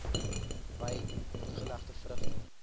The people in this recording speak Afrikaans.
wyn ingelegde vrugte